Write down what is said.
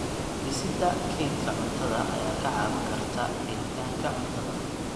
Dhisida kaydka cuntada ayaa kaa caawin karta helitaanka cuntada.